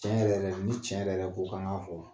Tiɲɛ yɛrɛ yɛrɛ d ni tiɲɛ yɛrɛ yɛrɛ ko k'an ŋ'a fɔ